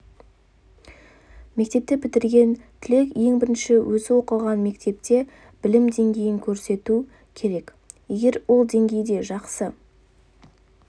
мектепті бітірген түлек ең бірінші өзі оқыған мектепте білім деңгейін көрсету керек егер ол деңгейде жақсы